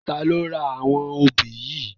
Tà ló rá áwòn óbi yi?